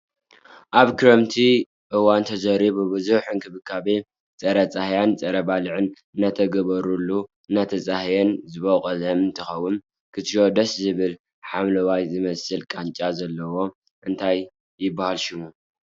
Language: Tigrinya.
ኣብ ክረምቲ እዋን ተዘሪኡ ብብዙሕ እንክብካቤን ፀረ ፃህያይን ፀረ ባልዕን እናተገበሮን እናተፀሃየን ዝበቆለ እንትከውን ክትርእዮ ደስ ዝብልን ሓምለዋይ ዝመስል ቃንጫ ዘለዎ እንታይ ይብሃል ሽሙ?